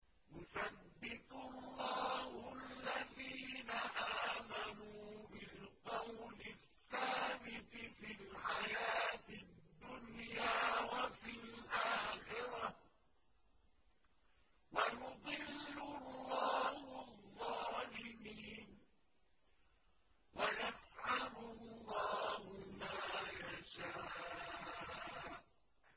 يُثَبِّتُ اللَّهُ الَّذِينَ آمَنُوا بِالْقَوْلِ الثَّابِتِ فِي الْحَيَاةِ الدُّنْيَا وَفِي الْآخِرَةِ ۖ وَيُضِلُّ اللَّهُ الظَّالِمِينَ ۚ وَيَفْعَلُ اللَّهُ مَا يَشَاءُ